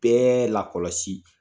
Bɛɛ lakɔlɔsi